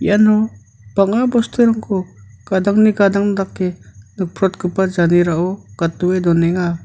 iano bang·a bosturangko gadangni gadang dake nikprotgipa janerao gatdoe donenga.